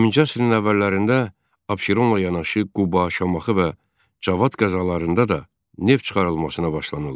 20-ci əsrin əvvəllərində Abşeronla yanaşı Quba, Şamaxı və Cavad qəzalarında da neft çıxarılmasına başlanıldı.